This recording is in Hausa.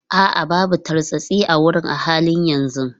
A'a, babu tartsatsi a wurin a halin yanzu.